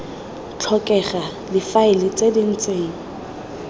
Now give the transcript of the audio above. tlhokega difaele tse di ntseng